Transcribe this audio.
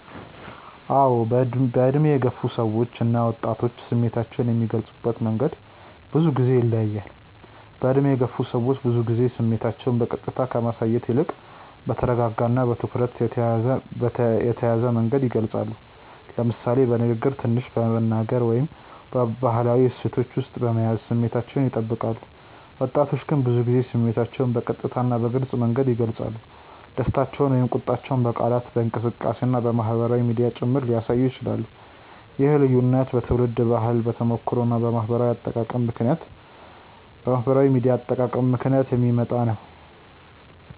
አዎ፣ በዕድሜ የገፉ ሰዎች እና ወጣቶች ስሜታቸውን የሚገልጹበት መንገድ ብዙ ጊዜ ይለያያል። በዕድሜ የገፉ ሰዎች ብዙ ጊዜ ስሜታቸውን በቀጥታ ከማሳየት ይልቅ በተረጋጋ እና በትኩረት የተያዘ መንገድ ይገልጻሉ፤ ለምሳሌ በንግግር ትንሽ በመናገር ወይም በባህላዊ እሴቶች ውስጥ በመያዝ ስሜታቸውን ይጠብቃሉ። ወጣቶች ግን ብዙ ጊዜ ስሜታቸውን በቀጥታ እና በግልጽ መንገድ ይገልጻሉ፤ ደስታቸውን ወይም ቁጣቸውን በቃላት፣ በእንቅስቃሴ እና በማህበራዊ ሚዲያ ጭምር ሊያሳዩ ይችላሉ። ይህ ልዩነት በትውልድ ባህል፣ በተሞክሮ እና በማህበራዊ አጠቃቀም ምክንያት የሚመጣ ነው።